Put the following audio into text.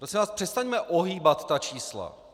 Prosím vás, přestaňme ohýbat ta čísla.